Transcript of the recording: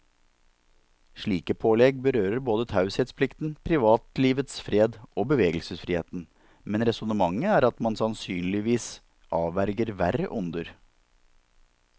Slike pålegg berører både taushetsplikten, privatlivets fred og bevegelsesfriheten, men resonnementet er at man sannsynligvis avverger verre onder.